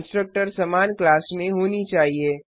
constructors समान class में होनी चाहिए